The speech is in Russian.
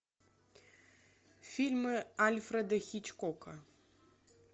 фильмы альфреда хичкока